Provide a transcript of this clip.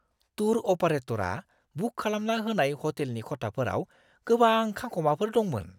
Tour अपारेटरा book खालामना होनाय ह'टेलनि खथाफोराव गोबां खांखमाफोर दंमोन!